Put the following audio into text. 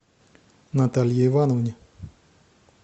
наталье ивановне